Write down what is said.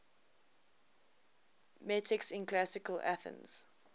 metics in classical athens